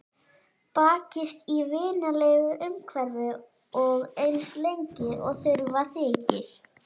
Bakist í vinalegu umhverfi og eins lengi og þurfa þykir.